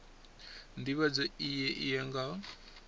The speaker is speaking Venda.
ndivhadzo iyi a yo ngo